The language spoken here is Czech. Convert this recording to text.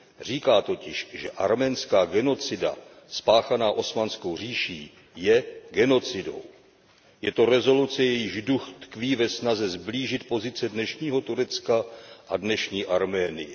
Říká totiž, že arménská genocida spáchaná Osmanskou říší, je genocidou. Je to rezoluce, jejíž duch tkví ve snaze sblížit pozice dnešního Turecka a dnešní Arménie.